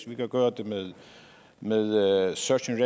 vi kan gøre det med med search and